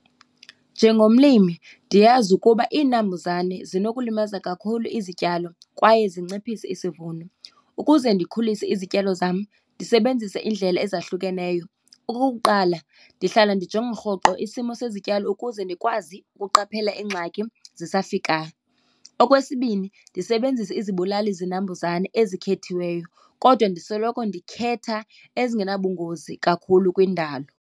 Njengomlimi ndiyazi ukuba izinambuzane zinokulimaza kakhulu izityalo kwaye zinciphise isivuno. Ukuze ndikhulise izityalo zam ndisebenzisa iindlela ezahlukeneyo. Okokuqala, ndihlala ndijonge rhoqo isimo sezityalo ukuze ndikwazi ukuqaphela iingxaki zisafika. Okwesibini, ndisebenzisa izibulalizinambuzane ezikhethwayo kodwa ndisoloko ndikhetha ezingenabungozi kakhulu kwindalo.